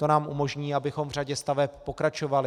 To nám umožní, abychom v řadě staveb pokračovali.